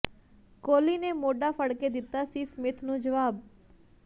ਕੋਹਲੀ ਨੇ ਮੋਢਾ ਫੜਕੇ ਦਿੱਤਾ ਸੀ ਸਮਿਥ ਨੂੰ ਜਵਾਬ